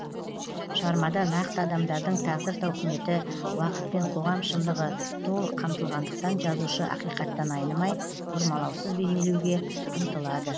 шығармада нақты адамдардың тағдыр тауқыметі уақыт пен қоғам шындығы толық қамтылғандықтан жазушы ақиқаттан айнымай бұрмалаусыз бейнелеуге ұмтылады